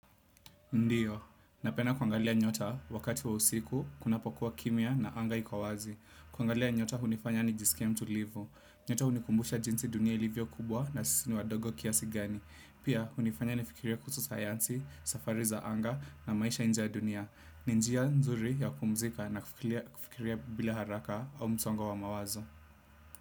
Ndiyo. Napenda kuangalia nyota wakati wa usiku kunapokuwa kimya na anga iko wazi. Kuangalia nyota hunifanya nijisikie mtulivu. Nyota hunikumbusha jinsi dunia ilivyo kubwa na sisi ni wadogo kiasi gani. Pia, hunifanya nifikirie kuhusu sayansi, safari za anga na maisha inje ya dunia. Ni njia nzuri ya kumzika na kufikiria bila haraka au msongo wa mawazo.